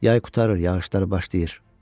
Yay qurtarır, yağışlar başlayır.